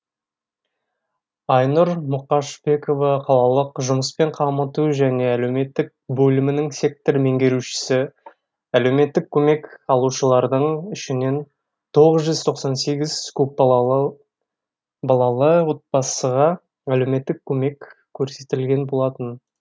айнұр мұқашбекова қалалық жұмыспен қамыту және әлеуметтік бөлімінің сектор меңгерушісі әлеуметтік көмек алушылардың ішінен тоғыз жүз тоқсан сегіз көпбалалы отбасыға әлеуметтік көмек көрсетілген болатын